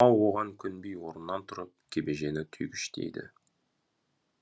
мылқау оған көнбей орнынан тұрып кебежені түйгіштейді